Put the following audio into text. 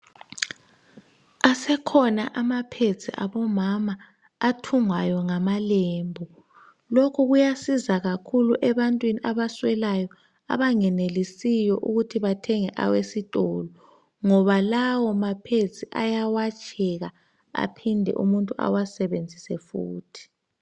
Asekhona ama pads abomama athungwayo ngamalembu lokhu kuyasiza kakhulu ebantwini abaswelayo abangenelisiyo ukuthi bathenge awesitolo ngoba lawa ma pads ayawatsheka aphinde umuntu ewasebenzise futhi.